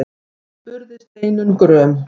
spurði Steinunn gröm.